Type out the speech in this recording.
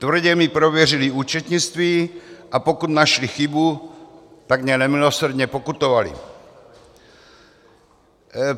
Tvrdě mi prověřili účetnictví, a pokud našli chybu, tak mě nemilosrdně pokutovali.